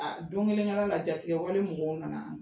don kelen kɛra la jatigɛ wale mɔgɔw na na.